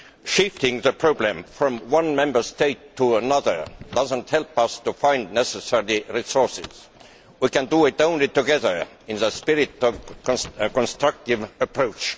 Shifting the problem from one Member State to another does not help us to find necessary resources. We can only do it together in the spirit of a constructive approach.